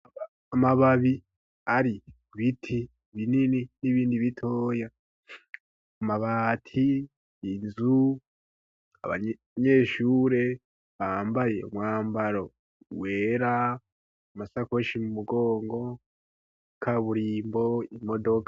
Amababi ari ku biti binini n'ibindi bitoya amabati yinzu abanyeshure bambaye umwambaro wera amasakoshi mu mugongo, kaburimbo, imodoka.